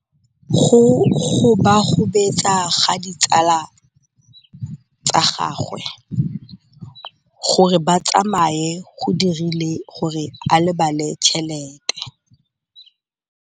Go gobagobetsa ga ditsala tsa gagwe, gore ba tsamaye go dirile gore a lebale tšhelete.